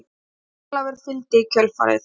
Jón Ólafur fylgdi í kjölfarið.